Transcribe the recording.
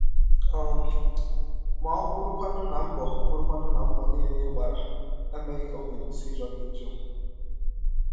um Ma ọ́ bụrụkwanụ na mbọ bụrụkwanụ na mbọ niile ị gbara emeghị ka ọbi kwụsị ịjọ gị njọ?